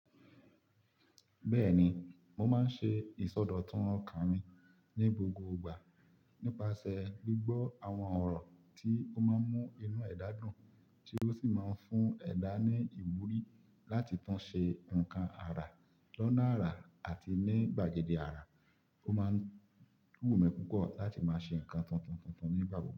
Bẹ́ẹ̀ni, mo máa ń ṣe ìsọdọ̀tun ọkàn mi ní gbogbo ìgbà nípasẹ̀ gbígbọ́ àwọn ọ̀rọ̀ tí ó máa ń mú inú ẹ̀dá dùn, tí ó sì máa ń fún ẹ̀dá ní ìwúrí láti tún ṣe nǹkan àrà lọ́nà àrà àti ní gbàgede àrà, ó máa ń w mi púpọ̀ láti máa ṣe nǹkan tuntun tuntun nígbà gbogbo.